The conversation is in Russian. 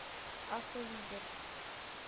автолидер